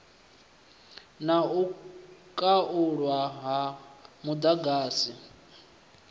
na u khaulwa ha muḓagasi